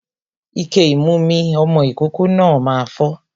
Ike ìmu mi ọmọ ìkókó náà máa fọ́